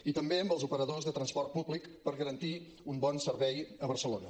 i també amb els operadors de transport públic per garantir un bon servei a barcelona